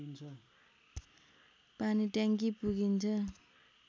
पानीट्याङ्की पुगिन्छ